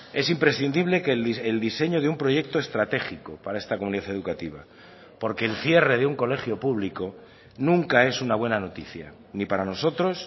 es imprescindible que el diseño de un proyecto estratégico para esta comunidad educativa porque el cierre de un colegio público nunca es una buena noticia ni para nosotros